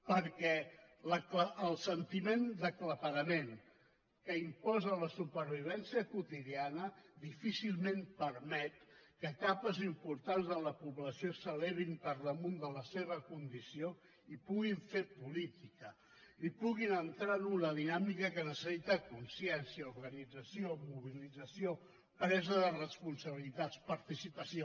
perquè el sentiment d’aclaparament que imposa la supervivència quotidiana difícilment permet que capes importants de la població s’elevin per damunt de la seva condició i puguin fer política i puguin entrar en una dinàmica que necessita consciència organització mobilització presa de responsabilitats participació